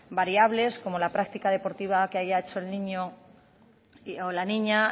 variables como la práctica deportiva que haya hecho el niño o la niña